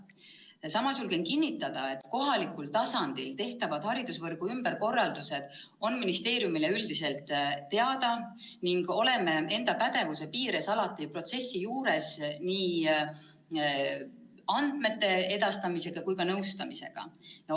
Samas julgen kinnitada, et kohalikul tasandil tehtavad haridusvõrgu ümberkorraldused on ministeeriumile üldiselt teada ning oleme enda pädevuse piires alati protsessi nii andmete edastamise kui ka nõustamisega.